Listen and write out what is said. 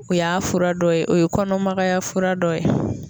O y'a fura dɔ ye o ye kɔnɔmagaya fura dɔ ye